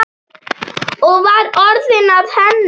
Og var orðið að henni?